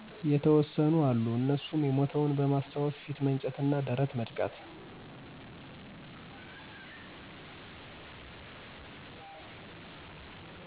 የተወሰኑ አሉ እነሱም የሞተውን በማስታወስ ፊት መንጨት፣ ደረት መድቃት።